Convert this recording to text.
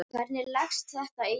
Hvernig leggst þetta í þig?